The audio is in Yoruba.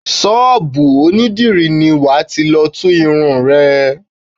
Ṣọ́bùù onídìrí ni wà ti lọ tú irun rẹ.